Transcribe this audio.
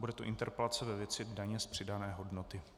Bude to interpelace ve věci daně z přidané hodnoty.